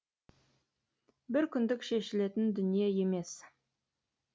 бір күндік шешілетін дүние емес